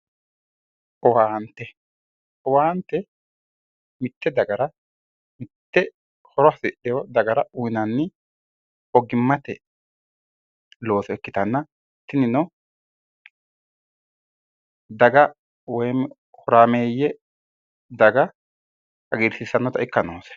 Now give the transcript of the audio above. Owaante, owaante mitte dagara mitte horo hasi'dheewo dagara ogimmate looso ikkanna tinino, daga woy horaammeeyye daga hagiirsiissannota ikka noose